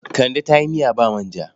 Kande ta yi miya ba manja.